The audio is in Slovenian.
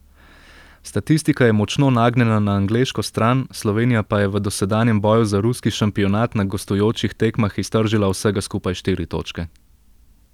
Statistika je močno nagnjena na angleško stran, Slovenija pa je v dosedanjem boju za ruski šampionat na gostujočih tekmah iztržila vsega skupaj štiri točke.